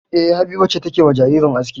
E, Habiba ce take wa jariri aski.